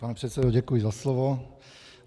Pane předsedo, děkuji za slovo.